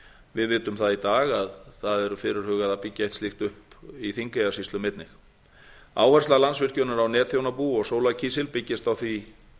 við vitum það í dag að það eru fyrirhugað að byggja eitt slíkt upp í þingeyjarsýslum einnig áhersla landsvirkjunar á netþjónabú og sólarkísil byggist á því